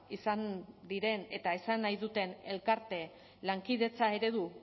izan diren eta esan nahi duten elkarte lankidetza eredu